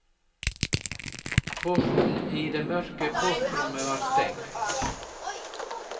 Porten i det mørke portrommet var stengt.